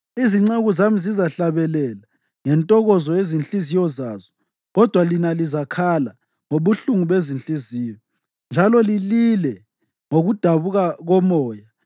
Izinceku zami zizahlabelela ngentokozo yezinhliziyo zazo, kodwa lina lizakhala ngobuhlungu bezinhliziyo njalo lilile ngokudabuka komoya.